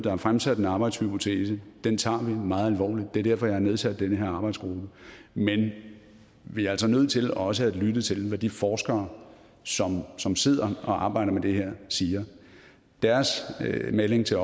er fremsat en arbejdshypotese den tager vi meget alvorligt og det er derfor jeg har nedsat den her arbejdsgruppe men vi er altså nødt til også at lytte til hvad de forskere som som sidder og arbejder med det her siger deres melding til